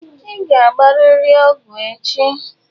Ị ga-agbarịrị ọgwụ echi.